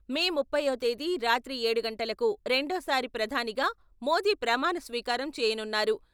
మే ముప్పైవ తేదీ రాత్రి ఏడు గంటలకు రెండోసారి ప్రధానిగా మోదీ ప్రమాణస్వీకారం చేయనున్నారు.